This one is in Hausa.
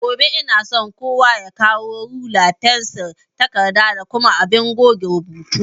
Gobe inason kowa ya kawo rula, fensir, takarda da kuma abin goge rubutu